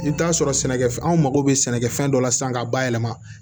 I bɛ t'a sɔrɔ sɛnɛkɛfɛn anw mago be sɛnɛfɛn dɔ la sisan k'a bayɛlɛma